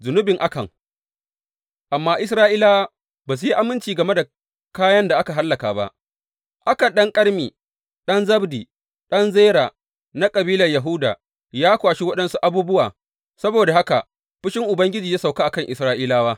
Zunubin Akan Amma Isra’ilawa ba su yi aminci game da kayan da aka hallaka ba; Akan ɗan Karmi, ɗan Zabdi, ɗan Zera, na kabilan Yahuda ya kwashi waɗansu abubuwa, saboda haka fushin Ubangiji ya sauka a kan Isra’ilawa.